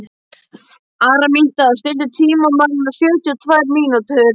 Araminta, stilltu tímamælinn á sjötíu og tvær mínútur.